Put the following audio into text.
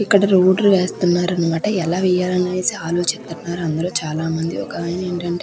ఇక్కడ రోడు వేస్తున్నారు అనమాట ఎలా వేయాలి అని ఆలోచిస్తున్నారు చాలా మంది ఒక ఆయన ఏంటంటే --